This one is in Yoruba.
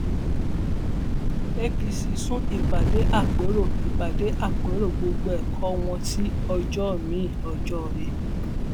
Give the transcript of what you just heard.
apc sún ìpàdé àpérò ìpàdé àpérò gbọgbẹkọọ wọn sí ọjọ miin ọjọọre